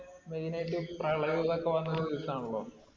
main ആയിട്ട് പ്രളയവും ഇതൊക്കെ വന്ന ആണല്ലോ.